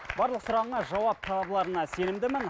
барлық сұрағыңа жауап табыларына сенімдімін